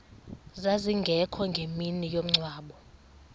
zazingekho ngemini yomngcwabo